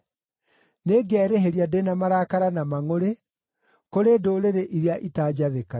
Nĩngerĩhĩria ndĩ na marakara na mangʼũrĩ kũrĩ ndũrĩrĩ iria itanjathĩkagĩra.”